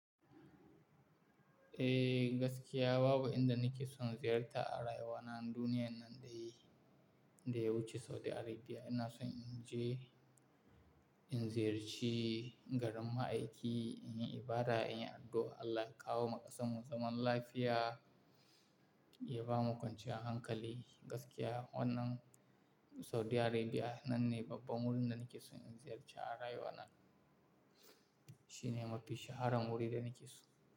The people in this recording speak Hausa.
Eh gaskiya babu inda nake son ziyarta a rayuwana duniya dai da ya wuce Saudi Arabia. Ina son in je in ziyarci garin ma'aiki, in yi ibada, in yi addu'a Allah ya kawo ma kasarmu zaman lafiya, ya ba mu kwanciyar hankali gaskiya wannan Saudi Arabia nan ne babban wurin da nake son in ziyarta a rayuwa na. Shi ne mafi shaharan wuri da nake so.